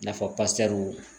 I n'a fɔ